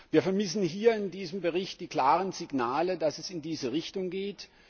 Wir vermissen in diesem Bericht die klaren Signale, dass es in diese Richtung geht.